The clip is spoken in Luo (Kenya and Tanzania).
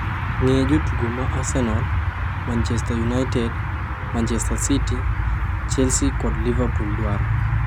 Ng'e jotugo ma Arsenal, Manchester United, Manchester City, Chelsea kod Liverpool dwaro